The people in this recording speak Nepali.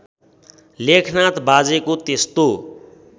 लेखनाथ बाजेको त्यस्तो